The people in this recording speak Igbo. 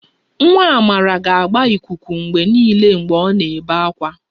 Nwa Amara ga-agba ikuku mgbe niile mgbe ọ na-ebe ákwá